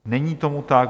Není tomu tak.